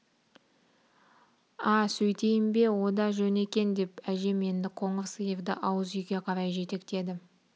а сөйтейін бе о да жөн екен деп әжем енді қоңыр сиырды ауыз үйге қарай жетектеді